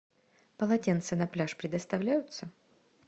полотенца на пляж предоставляются